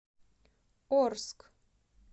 орск